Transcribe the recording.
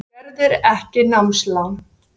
Skerðir ekki námslán